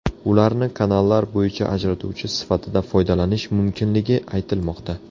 Ularni kanallar bo‘yida ajratuvchi sifatida foydalanish mumkinligi aytilmoqda.